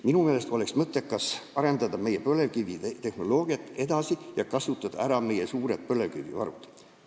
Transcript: Minu meelest oleks mõttekas arendada edasi meie põlevkivitehnoloogiat ja kasutada ära meie suured põlevkivivarud.